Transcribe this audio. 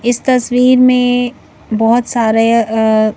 इस तस्वीर में बहुत सारेअ अ--